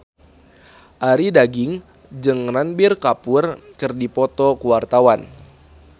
Arie Daginks jeung Ranbir Kapoor keur dipoto ku wartawan